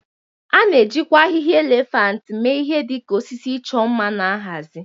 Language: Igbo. A na-ejikwa ahịhịa elephant mee ihe dị ka osisi ịchọ mma na nhazi.